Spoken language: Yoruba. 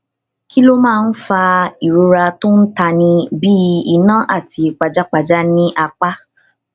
kí ló máa ń fa ìrora tó ń tani bí iná àti pajápajá ní apá